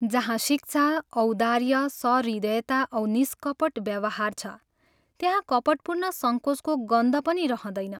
जहाँ शिक्षा, औदार्य, सहृदयता औ निष्कपट व्यवहार छ, त्यहाँ कपटपूर्ण संकोचको गन्ध पनि रहँदैन।